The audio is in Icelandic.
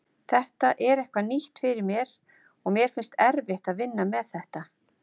Þetta er eitthvað nýtt fyrir mér og mér finnst erfitt að vinna með þetta.